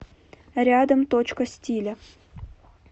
рядом точка стиля